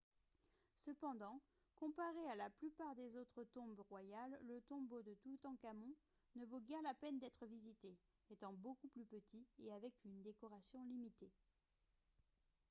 cependant comparé à la plupart des autres tombes royales le tombeau de toutankhamon ne vaut guère la peine d'être visité étant beaucoup plus petit et avec une décoration limitée